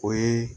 O ye